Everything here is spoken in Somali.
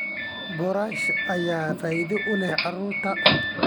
Boorash ayaa faa'iido u leh carruurta.